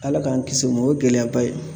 Ala k'an kisi o ma o ye gɛlɛyaba ye